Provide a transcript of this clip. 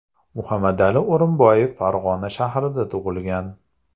Muhammadali O‘rinboyev Farg‘ona shahrida tug‘ilgan.